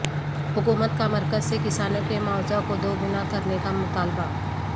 حکومت کامرکز سے کسانوں کے معاوضہ کو دو گنا کرنے کا مطالبہ